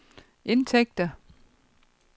indtægter